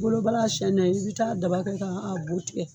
I bolo balan a siɲɛni na i bi taa daba kɛ ka bu tigɛ